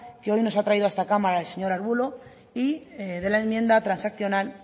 que hoy nos ha traído a esta cámara el señor ruiz de arbulo y de la enmienda transaccional